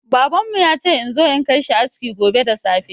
Baban mu ya ce in zo in kai shi aski gobe da safe.